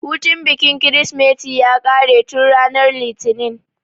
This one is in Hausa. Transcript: Hutun bikin kirismeti ya ƙare tun ranar litinin